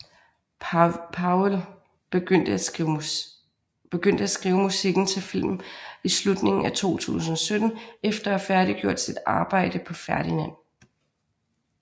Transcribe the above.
Powell begyndte at skrive musikken til filmen i slutningen af 2017 efter at have færdiggjort sit arbejde på Ferdinand